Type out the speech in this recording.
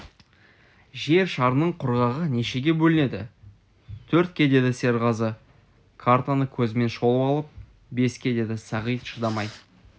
жер шарының құрғағы нешеге бөлінеді төртке деді серғазы картаны көзімен шолып алып беске деді сағит шыдамай